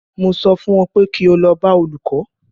Mo sọ fún ọ pé kí o lọ bá olùkó!